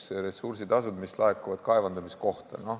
Võtame näiteks ressursitasud, mis laekuvad kaevandamiskohta.